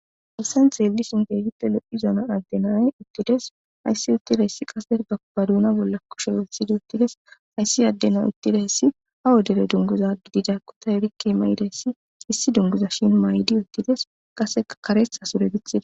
aessan xeelli sinteegippe lo7i zona addenay uttides hayssi uttida hessi qase bakuba duuna bolla kushe wesidi uttides hayssi addena uttida hessi ha wodele dunguza gididakku ta erikke may7ida hessi issi dunguza shin maay7idi uttides qase kares asure dithida